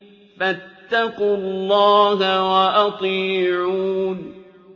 فَاتَّقُوا اللَّهَ وَأَطِيعُونِ